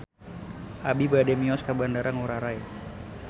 Abi bade mios ka Bandara Ngurai Rai